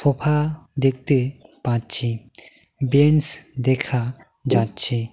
ফা দেখতে পাচ্ছি বেঞ্চ দেখা যাচ্ছে।